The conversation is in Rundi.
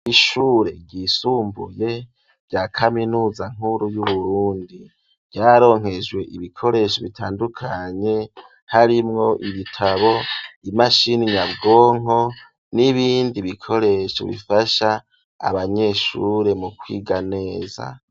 Ishure ryisumbuye, rya kaminuza nkuru, y'Uburundi; ryararonkejwe ibikoresho bitandukanye, harimwo ibitabo, imashini nyabwonko, n'ibindi bikoresho, bifasha abanyeshure, mu kwiga neza.